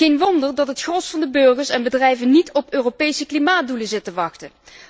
Geen wonder dat het gros van de burgers en bedrijven niet op Europese klimaatdoelen zit te wachten.